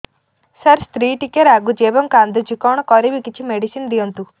ସାର ସ୍ତ୍ରୀ ଟିକେ ରାଗୁଛି ଏବଂ କାନ୍ଦୁଛି କଣ କରିବି କିଛି ମେଡିସିନ ଦିଅନ୍ତୁ